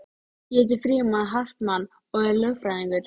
Ég heiti Frímann Hartmann og er lögfræðingur